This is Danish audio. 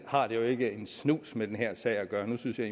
har det jo ikke en snus med den her sag at gøre nu synes jeg